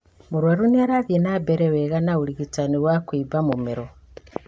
Mũrwaru nĩarathiĩ wa mbere wega na ũrigitani wa kũimba mũmero